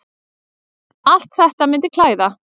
Allt þetta myndi klæða